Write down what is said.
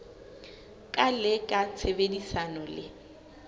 ka le ka tshebedisano le